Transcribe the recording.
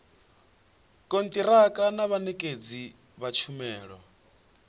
kontiraka na vhanekedzi vha tshumelo